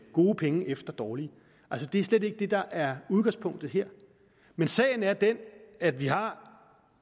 gode penge efter dårlige altså det er slet ikke det der er udgangspunktet her men sagen er den at vi har